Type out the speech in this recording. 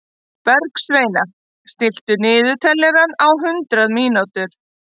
Bergsveina, stilltu niðurteljara á hundrað mínútur.